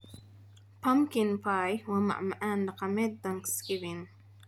Pumpkin pie waa macmacaan dhaqameed Thanksgiving.